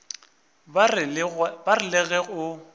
ba re le ge o